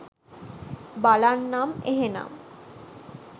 බලන්නම් එහෙනම්.